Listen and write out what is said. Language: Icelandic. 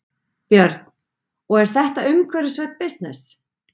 Björn: Og er þetta umhverfisvænn bisness?